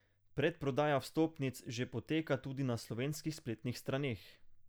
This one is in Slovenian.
Predprodaja vstopnic že poteka tudi na slovenskih spletnih straneh.